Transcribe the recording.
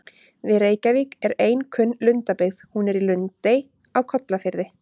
Við Reykjavík er ein kunn lundabyggð, hún er í Lundey á Kollafirði.